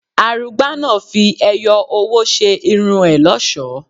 Arugba náà fi ẹyọ owó ṣe irun ẹ lọ́ṣọ̀ọ́.